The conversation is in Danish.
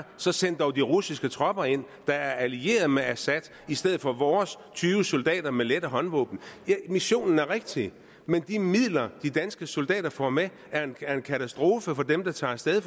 så send dog de russiske tropper ind der er allieret med assad i stedet for vores tyve soldater med lette håndvåben missionen er rigtig men de midler de danske soldater får med er en katastrofe for dem der tager afsted